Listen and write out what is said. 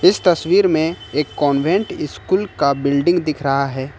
इस तस्वीर में एक कान्वेंट स्कूल का बिल्डिंग दिख रहा है।